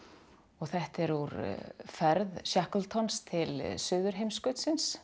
þetta er úr ferð til